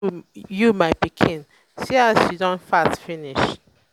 how are you my you my pikin see as you don fat finish